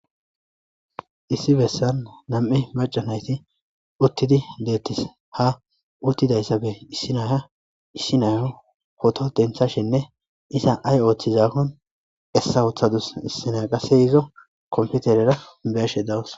Issi bessan nami'i macca nayti uttidi deettes. Ha uttidysappe issi naya issi nayo poto denththashenne iza ayi ooththizakkon essa woththadus. Issi naya qasse izo kompiterera be'ashe de'awus.